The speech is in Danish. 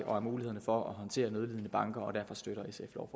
og mulighederne for at håndtere nødlidende banker og derfor støtter